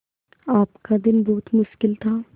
आपका दिन बहुत मुश्किल था